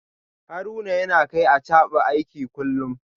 Haruna yana kai Achaba aiki kullum